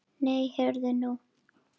Nei, heyrðu nú!